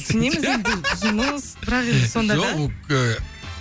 түсінеміз енді жұмыс бірақ енді сонда да жоқ ол ыыы